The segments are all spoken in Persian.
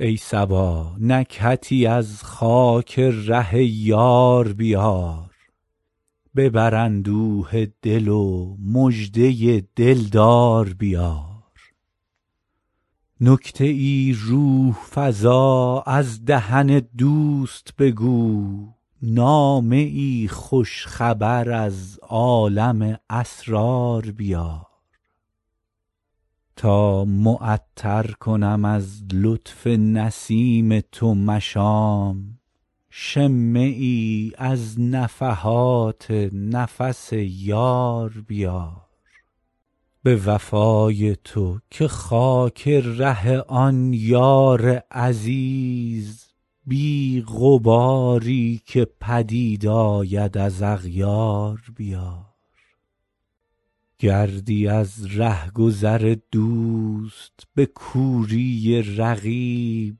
ای صبا نکهتی از خاک ره یار بیار ببر اندوه دل و مژده دل دار بیار نکته ای روح فزا از دهن دوست بگو نامه ای خوش خبر از عالم اسرار بیار تا معطر کنم از لطف نسیم تو مشام شمه ای از نفحات نفس یار بیار به وفای تو که خاک ره آن یار عزیز بی غباری که پدید آید از اغیار بیار گردی از ره گذر دوست به کوری رقیب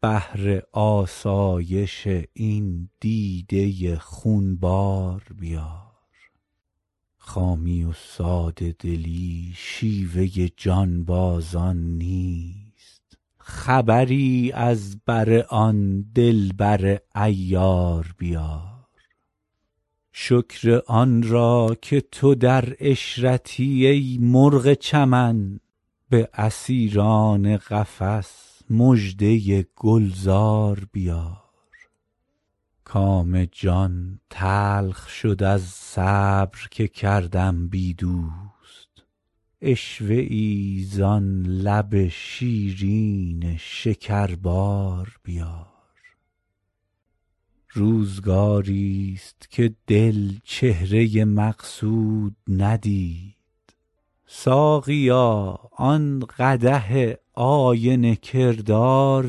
بهر آسایش این دیده خون بار بیار خامی و ساده دلی شیوه جانبازان نیست خبری از بر آن دل بر عیار بیار شکر آن را که تو در عشرتی ای مرغ چمن به اسیران قفس مژده گل زار بیار کام جان تلخ شد از صبر که کردم بی دوست عشوه ای زان لب شیرین شکربار بیار روزگاریست که دل چهره مقصود ندید ساقیا آن قدح آینه کردار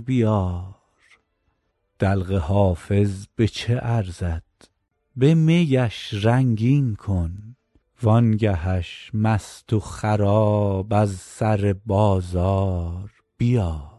بیار دلق حافظ به چه ارزد به می اش رنگین کن وان گه اش مست و خراب از سر بازار بیار